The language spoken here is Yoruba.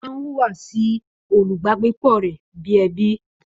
Ó má hùwà sí olùbágbépọ̀ rẹ̀ bi ẹbí